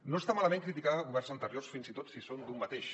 no està malament criticar governs anteriors fins i tot si són d’un mateix